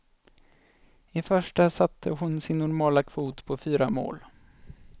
I första satte hon sin normala kvot på fyra mål.